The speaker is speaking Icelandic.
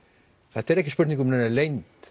þetta er ekki spurning um neina leynd